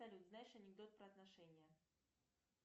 салют знаешь анекдот про отношения